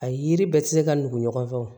A yiri bɛɛ ti se ka nugu ɲɔgɔn fɛ wo